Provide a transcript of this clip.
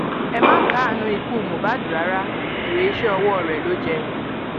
ẹ má káàánú ikú mohbad rárá èrè iṣẹ ọwọ rẹ ló jẹ